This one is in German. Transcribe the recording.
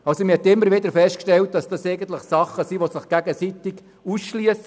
Man hat immer wieder festgestellt, dass die beiden Bereiche einander ausschliessen.